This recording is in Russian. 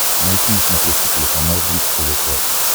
найти на смотрешке телеканал бридж тв классик